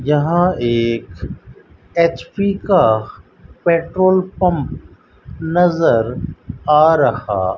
यहां एक एच_पी का पेट्रोल पंप नजर आ रहा --